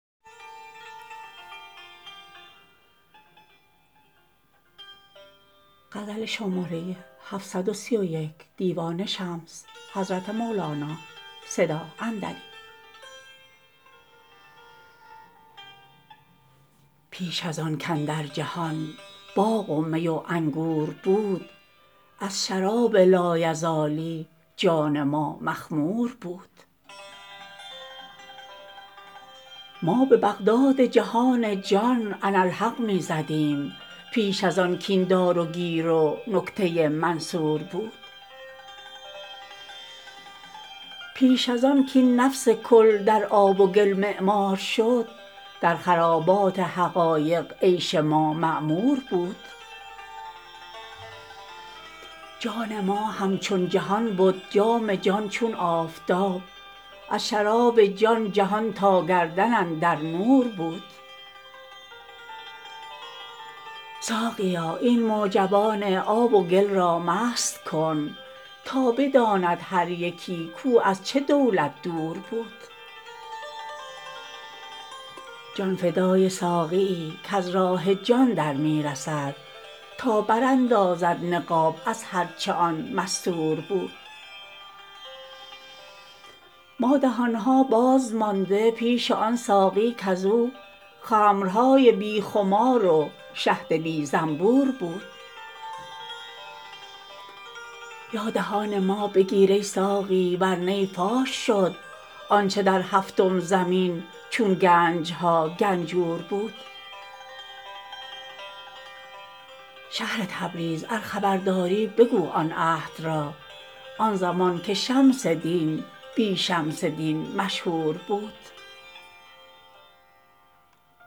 پیش از آن کاندر جهان باغ و می و انگور بود از شراب لایزالی جان ما مخمور بود ما به بغداد جهان جان اناالحق می زدیم پیش از آن کاین دار و گیر و نکته منصور بود پیش از آن کاین نفس کل در آب و گل معمار شد در خرابات حقایق عیش ما معمور بود جان ما همچون جهان بد جام جان چون آفتاب از شراب جان جهان تا گردن اندر نور بود ساقیا این معجبان آب و گل را مست کن تا بداند هر یکی کو از چه دولت دور بود جان فدای ساقیی کز راه جان در می رسد تا براندازد نقاب از هر چه آن مستور بود ما دهان ها باز مانده پیش آن ساقی کز او خمرهای بی خمار و شهد بی زنبور بود یا دهان ما بگیر ای ساقی ور نی فاش شد آنچ در هفتم زمین چون گنج ها گنجور بود شهر تبریز ار خبر داری بگو آن عهد را آن زمان کی شمس دین بی شمس دین مشهور بود